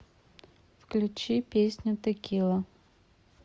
включи песню текила